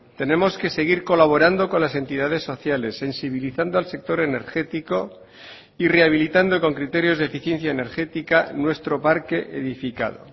tenemos que seguir colaborando con las entidades sociales sensibilizando al sector energético y rehabilitando con criterios de eficiencia energética nuestro parque edificado